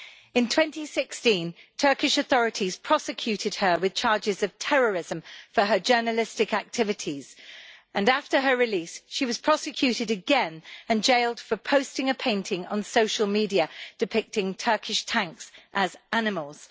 In 2016, Turkish authorities prosecuted her with charges of terrorism for her journalistic activities, and after her release she was prosecuted again and jailed for posting a painting on social media depicting Turkish tanks as animals.